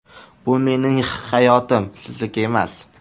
Bu mening hayotim, sizniki emas!!